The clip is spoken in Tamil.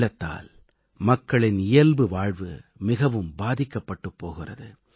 வெள்ளத்தால் மக்களின் இயல்பு வாழ்வு மிகவும் பாதிக்கப்பட்டுப் போகிறது